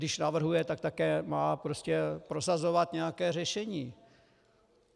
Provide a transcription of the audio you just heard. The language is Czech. Když navrhuje, tak také má prostě prosazovat nějaké řešení.